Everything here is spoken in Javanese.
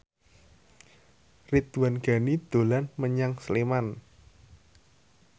Ridwan Ghani dolan menyang Sleman